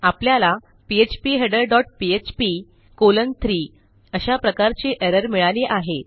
आपल्याला feeder dot PHP colon 3 अशा प्रकारची एरर मिळाली आहे